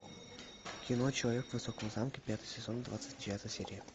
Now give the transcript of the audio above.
кино человек в высоком замке пятый сезон двадцать девятая серия